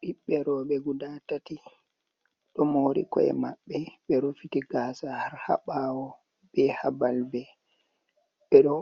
Ɓiɓɓe rowɓe guda tati, ɗo moori ko’e maɓɓe, ɓe rufiti gaasa har haa ɓaawo be haa balbe. Ɓe ɗo